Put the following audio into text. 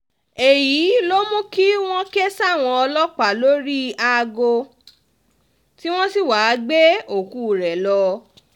èyí ló mú kí wọ́n ké sáwọn ọlọ́pàá lórí aago tí wọ́n sì wáá gbé òkú rẹ lọ